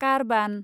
कारबान